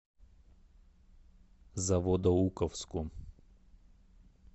заводоуковску